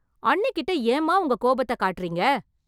அண்ணிகிட்ட ஏன்மா உங்க கோபத்தக் காட்றீங்க?